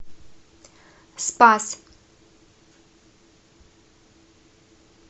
спас